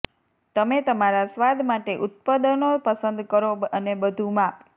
તમે તમારા સ્વાદ માટે ઉત્પાદનો પસંદ કરો અને બધું માપ